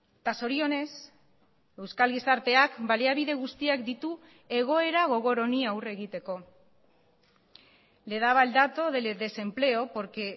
eta zorionez euskal gizarteak baliabide guztiak ditu egoera gogor honi aurre egiteko le daba el dato del desempleo porque